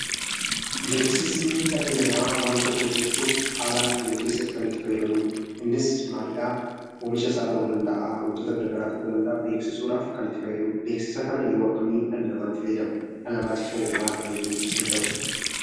Beeksisni dhalli namaa waan tokko hojjechuuf haala jiru keessatti kan itti fayyadamudha. Innis maalidha, oomisha isaa ta'uu danda'a waantota garaagaraa ta'uu danda'a, beeksisuudhaaf kan fayyadudha. Beeksisa kana yeroo akkami dhalli namaa itti fayyadama? Dhala namaatiif hoo maal fayyaduu danda'u?